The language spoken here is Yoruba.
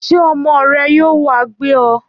Ṣé ọmọ rẹ yóò wá gbé ọ?